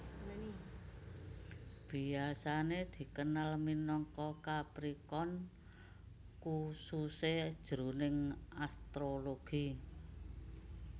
Biasané dikenal minangka Capricorn khususé jroning astrologi